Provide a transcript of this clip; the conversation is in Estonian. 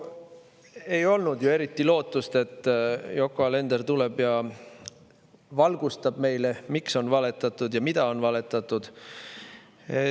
No ei olnud ju eriti lootust, et Yoko Alender tuleb ja valgustab meile, miks on valetatud ja mida on valetatud.